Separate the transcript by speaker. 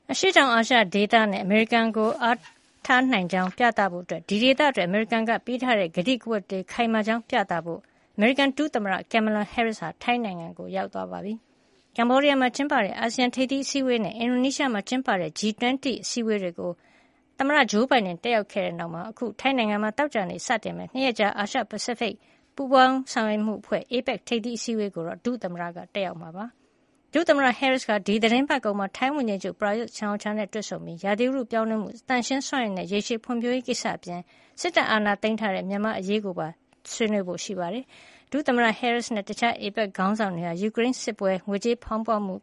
Speaker 1: အာရှတောင်အာရှ ဒေသအနေနဲ့ အမေရိကန်ကို အားထားနိုင်ကြောင်း ပြသဖို့နဲ့ ဒီဒေသအတွက် အမေရိကန်ပေးထားတဲ့ ကတိကဝတ်တွေ ခိုင်မာကြောင်း ပြသဖို့ အမေရိကန် ဒုသမ္မတ Kamala Harris ဟာ ထိုင်းနိုင်ငံကို ရောက်သွားပါပြီ။ ကမ္ဘောဒီးယားမှာ ကျင်းပတဲ့ အာဆီယံထိပ်သီးအစည်းဝေးနဲ့ အင်ဒိုနီးရှားမှာ ကျင်းပတဲ့ G 20 စီးပွါးရေးအင်အားကြီး နိုင်ငံ ၂၀ အစည်းဝေးတွေကို သမ္မတဂျိုးဘိုင်ဒန် တက်ရောက်ခဲ့တဲ့ နောက်မှာ အခု ထိုင်းနိုင်ငံမှာ သောကြာနေ့ စတင်မယ့် ၂ ရက်ကြာ အာရှပစိဖိတ် စီးပွါးရေး ပူးပေါင်းဆောင်ရွက်မှုအဖွဲ့ APEC ထိပ်သီးအစည်းဝေးကိုတော့ ဒုသမ္မတက တက်ရောက်မှာ ဖြစ်ပါတယ်။ ဒုသမ္မတ Harris ဟာ ဒီသီတင်းပတ်ကုန်မှာ ထိုင်းဝန်ကြီးချုပ် ပရာယွတ် ချန်အိုချာ နဲ့ တွေ့ဆုံပြီး ဥတုရာသီပြောင်းလဲမှု၊ သန့်ရှင်းစွမ်းအင်နဲ့ ရေရှည်ဖွံ့ဖြိုးရေး ကိစ္စရပ်တွေ အပြင် စစ်တပ်အာဏာသိမ်းထားတဲ့ မြန်မာနိုင်ငံအရေးကိုပါ ဆွေးနွေးဖွယ်ရှိပါတယ်။ ဒုသမ္မတ Harris နဲ့ တခြား APEC ခေါင်းဆောင်တွေဟာ ယူကရိန်စစ်ပွဲအရေး၊ ငွေကြေးဖေါင်းပွမှ